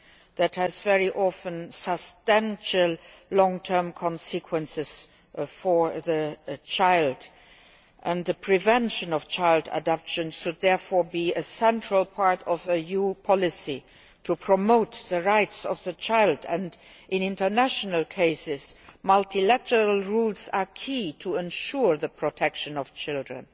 that has very often substantial long term consequences for the child. The prevention of child abduction should therefore be a central part of EU policy to promote the rights of the child and, in international cases, multilateral rules are key to ensuring the protection of children.